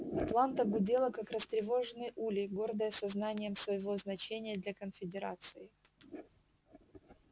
атланта гудела как растревоженный улей гордая сознанием своего значения для конфедерации